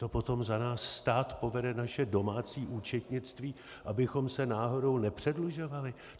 To potom za nás stát povede naše domácí účetnictví, abychom se náhodou nepředlužovali?